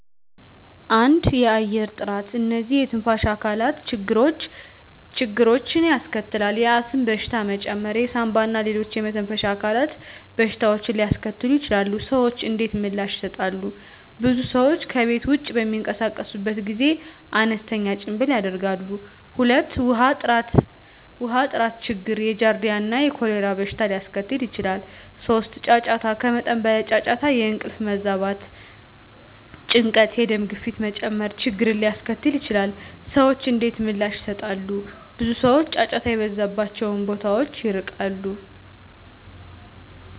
1. የአየር ጥራት *እነዚህ የትንፋሽ አካላት ችግሮችን ያስከትላል፣ የአስም በሽታ መጨመር የሳንባ እና ሌሎች የመተንፈሻ አካላት በሽታዎችን ሊያስከትሉ ይችላሉ። **ሰዎች እንዴት ምላሽ ይሰጣሉ? *ብዙ ሰዎች ከቤት ውጭ በሚንቀሳቀሱበት ጊዜ አነስተኛ ጭምብል ያደርጋሉ። 2. ውሃ ጥራት ችግር የጃርዲያ እና የኮሌራ በሽታ ሊያስከትል ይችላል። 3. ጫጫታ ከመጠን በላይ ጫጫታ የእንቅልፍ መዛባት፣ ጭንቀት፣ የደም ግፊት መጨመር ችግርን ሊያስከትል ይችላል። *ሰዎች እንዴት ምላሽ ይሰጣሉ? ብዙ ሰዎች ጫጫታ የበዛባቸውን ቦታዎች ይርቃሉ።